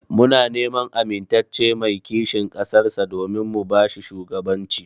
Muna neman amintacce mai kishin ƙasar sa domin mu bashi shugaban ci.